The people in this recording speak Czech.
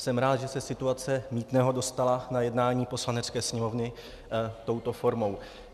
Jsem rád, že se situace mýtného dostala na jednání Poslanecké sněmovny touto formou.